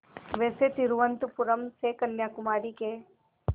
वैसे तिरुवनंतपुरम से कन्याकुमारी के